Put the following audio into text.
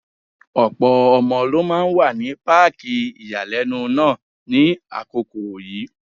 Ọ̀pọ̀ ọmọ ló máa wà ní páàkì ìyàlẹ́nu náà ní àkókò yìí.